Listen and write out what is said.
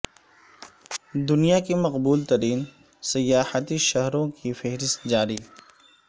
دنیا کے مقبول ترین سیاحتی شہر وں کی فہرست جاری